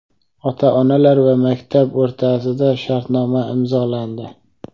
Ota-onalar va maktab o‘rtasida shartnoma imzolandi.